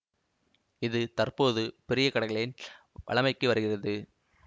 இது தற்போது பெரிய கடைகளில் வழமைக்கு வருகிறது